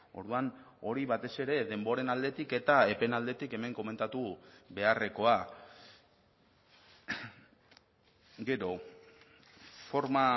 orduan hori batez ere denboren aldetik eta epeen aldetik hemen komentatu beharrekoa gero forma